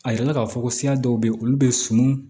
A yirala k'a fɔ ko siya dɔw bɛ yen olu bɛ sunun